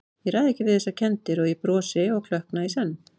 Ég ræð ekki við þessar kenndir- og ég brosi og klökkna í senn.